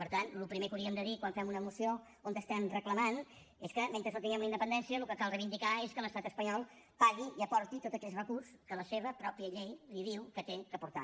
per tant el primer que hauríem de dir quan fem una moció on ho estem reclamant és que mentre no tinguem la independència el que cal reivindicar és que l’estat espanyol pagui i aporti tots aquells recursos que la seva pròpia llei li diu que ha d’aportar